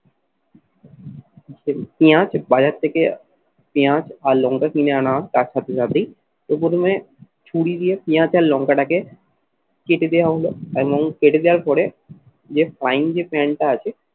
পেঁয়াজ বাজার থেকে পেঁয়াজ আর লঙ্কা কিনে আনা হয় তার সাথে সাথেই তো প্রথমে ছুরি দিয়ে পেঁয়াজ আর লঙ্কাটাকে কেটে দেওয়া হলো এবং কেটে দেওয়ার পরে যে frying যে pan টা আছে